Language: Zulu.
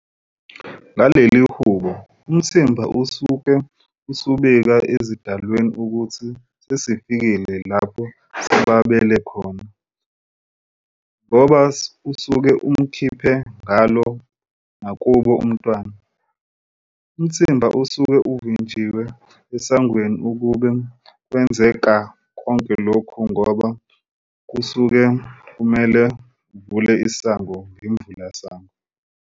Ngalelihubo umthimba usuke usubika ezidalweni ukuthi sesifikile lapha sibabele khona ngoba usuke umkhiphe ngalo nakubo umntwana. Umthimba usuke uvinjiwe esangweni kube kwenzeka konke lokhu ngoba kusuke kumele uvule isango ngemvulasango.